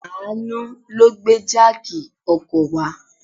Àánú ló gbé jáàkì ọkọ̀ wá.